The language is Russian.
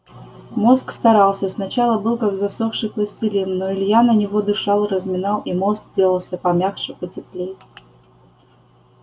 мозг старался сначала был как засохший пластилин но илья на него дышал разминал и мозг делался помягче потеплей